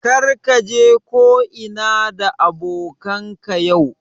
Kar ka je ko'ina da abokanan ka yau